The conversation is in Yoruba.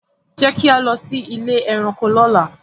Jẹ ki a lọ si ile ẹranko lọla.